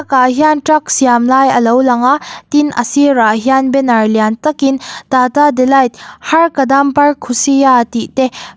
tah hian truck siam lai a lo lang a tin a sir ah hian banner lian tak in tata delight har kadam par khushiyan tih te.